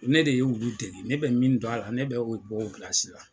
Ne de ye olu dɛmɛ ne bɛ min dɔn a la ne bɛ u bɔ u la.